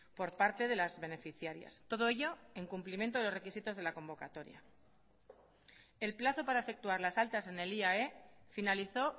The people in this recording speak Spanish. por parte de las beneficiarias todo ello en cumplimiento de los requisitos de la convocatoria el plazo para efectuar las altas en el iae finalizó